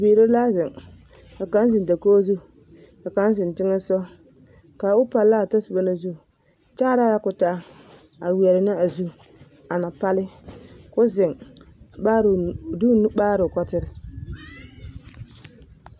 Bibiiri la zeŋ ka kaŋ zeŋ dakogi zu ka kaŋ zeŋ teŋɛsogɔ ka o palla a o tɔsoba na zu kyaaraa la k'o taa a weɛrɛ ne a zu a na palle k'o zeŋ amaara, de o nu maara ne o kɔtere.